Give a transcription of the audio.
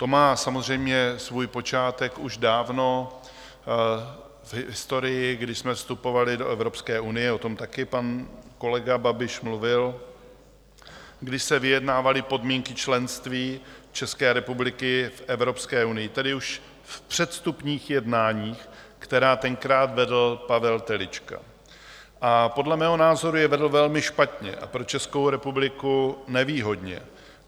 To má samozřejmě svůj počátek už dávno v historii, když jsme vstupovali do Evropské unie, o tom také pan kolega Babiš mluvil, když se vyjednávaly podmínky členství České republiky v Evropské unii, tedy už v předvstupních jednáních, která tenkrát vedl Pavel Telička, a podle mého názoru je vedl velmi špatně a pro Českou republiku nevýhodně.